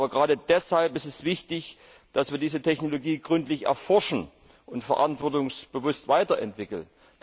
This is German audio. Gerade deshalb ist es wichtig, dass wir diese Technologie gründlich erforschen und verantwortungsbewusst weiterentwickeln.